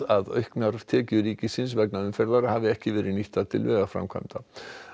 að auknar tekjur ríkisins vegna umferðar hafi ekki verið nýttar til vegaframkvæmda